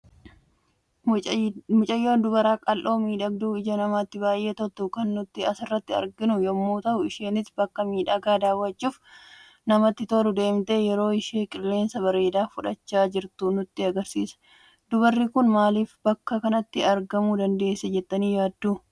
Dubara qal'oo miidhagduu ija namatti baay'ee toltu kan nuti asirratti arginu yemmu ta'u, isheenis bakka miidhaga dawwachuuf namatti tolu deemte yeroo isheen qilleensa bareeda fudhachaa jirtu nutti agarsiisa. Dubarri kun maaliif bakka kanatti argamuu dandeesse jettani yaaddu?